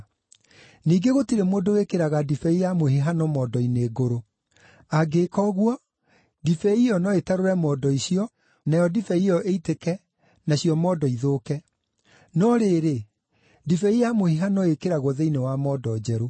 Ningĩ gũtirĩ mũndũ wĩkĩraga ndibei ya mũhihano mondo-inĩ ngũrũ. Angĩĩka ũguo, ndibei ĩyo no ĩtarũre mondo icio, nayo ndibei ĩyo ĩitĩke, nacio mondo ithũke. No rĩrĩ, ndibei ya mũhihano ĩĩkĩragwo thĩinĩ wa mondo njerũ.”